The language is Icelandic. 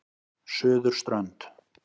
Suðurströnd